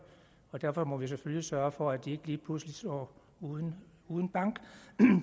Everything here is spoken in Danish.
og derfor må vi selvfølgelig sørge for at de ikke lige pludselig står uden en bank